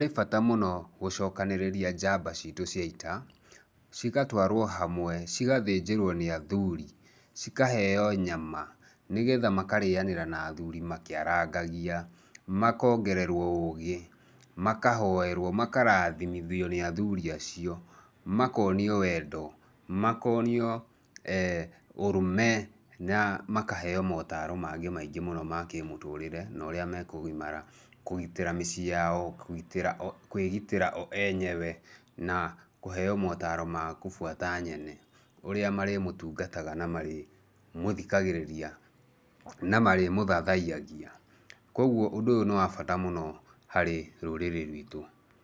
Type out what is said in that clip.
Nĩ bata mũno gũcokanĩrĩria njamba citũ cia ita, cigatwarwo hamwe, cigathĩnjĩrwo nĩ athuri, cikaheo nyama, nigetha makarĩanĩra na athuri makĩarangagia, makongererwo ũgĩ, makahoerwo, makarathimithio ni athuri acio, makonio wendo, makonio ũrume, na makaheo maũtaro mangĩ maingĩ mũno ma kĩmũtũrĩre no ũrĩa mekũgimara, kũgĩtĩra mĩcíĩ yao, kũĩgĩtĩra o enywe na kũheo maũtaro ma kũbuata Nyene, ũrĩa marĩmũtungataga na ũrĩa marĩ mũthikagĩrĩria na marĩ mũthathaiyagia, kwoguo ũndũ ũyũ nĩ wa bata mũno harĩ rũrĩrĩ rwitũ.